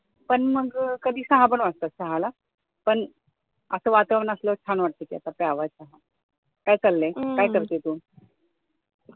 पण मग कधी सहा पण होतात पण असं वातावरण असल्यावर छान वाटत चहा घ्यायला. काय चाललंय? काय करतेय तू?